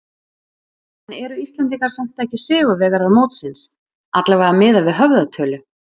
En eru Íslendingar samt ekki sigurvegarar mótsins, allavega miðað við höfðatölu?